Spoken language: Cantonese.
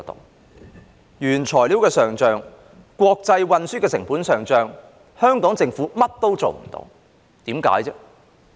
面對原材料的上漲、國際運輸成本的上漲，香港政府甚麼也做不了，為甚麼？